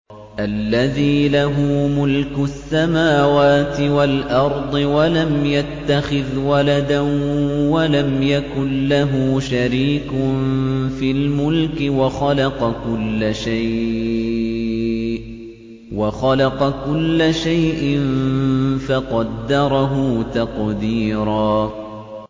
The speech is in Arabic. الَّذِي لَهُ مُلْكُ السَّمَاوَاتِ وَالْأَرْضِ وَلَمْ يَتَّخِذْ وَلَدًا وَلَمْ يَكُن لَّهُ شَرِيكٌ فِي الْمُلْكِ وَخَلَقَ كُلَّ شَيْءٍ فَقَدَّرَهُ تَقْدِيرًا